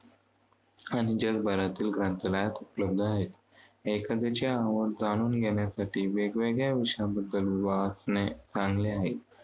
आणि जगभरातील ग्रंथालयांत उपलब्ध आहेत. एखाद्याची आवड जाणून घेण्यासाठी वेगवेगळ्या विषयांबद्दल वाचणे चांगले आहे.